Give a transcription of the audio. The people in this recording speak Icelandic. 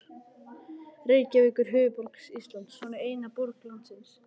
Reykjavík er höfuðborg Íslands. Hún er eina borg landsins.